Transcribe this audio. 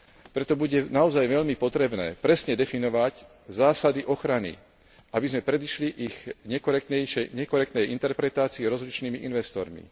Preto bude naozaj veľmi potrebné presne definovať zásady ochrany, aby sme predišli ich nekorektnej interpretácii rozličnými investormi.